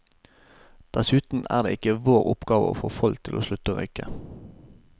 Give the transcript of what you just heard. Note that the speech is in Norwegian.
Dessuten er det ikke vår oppgave å få folk til å slutte å røyke.